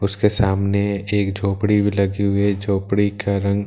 उसके सामने एक झोपड़ी भी लगी हुई हैं झोपड़ी का रंग --